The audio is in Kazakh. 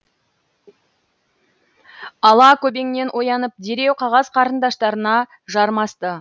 ала көбеңнен оянып дереу қағаз қарындаштарына жармасты